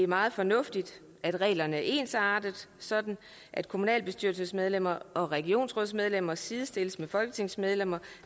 meget fornuftigt at reglerne er ensartede sådan at kommunalbestyrelsesmedlemmer og regionsrådsmedlemmer sidestilles med folketingsmedlemmer